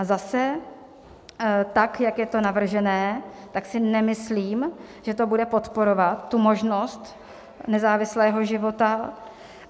A zase, tak jak je to navržené, tak si nemyslím, že to bude podporovat tu možnost nezávislého života.